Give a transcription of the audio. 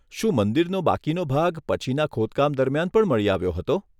શું મંદિરનો બાકીનો ભાગ પછીના ખોદકામ દરમિયાન પણ મળી આવ્યો હતો?